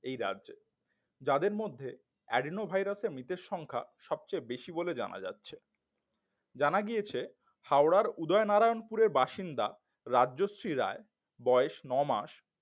এই রাজ্যে যাদের মধ্যে Adenovirus এ মৃতের সংখ্যা সবচেয়ে বেশি বলে জানা যাচ্ছে জানা গিয়েছে হাওড়ার উদয়নারায়নপুরের বাসিন্দা রাজশ্রী রায় বয়স নয় মাস